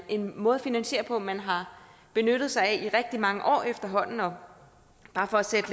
en måde at finansiere på man har benyttet sig af i rigtig mange år efterhånden og bare for at sætte